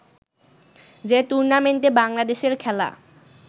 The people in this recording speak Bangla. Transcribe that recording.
যে টুর্নামেন্টে বাংলাদেশের খেলা